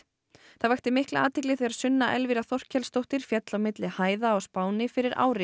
það vakti mikla athygli þegar Sunna Elvira Þorkelsdóttir féll á milli hæða á Spáni fyrir ári